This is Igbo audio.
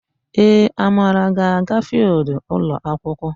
Ee, Amara ga-aga fịịldụ ụlọakwụkwọ.